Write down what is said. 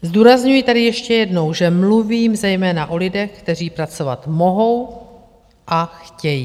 Zdůrazňuji tady ještě jednou, že mluvím zejména o lidech, kteří pracovat mohou a chtějí.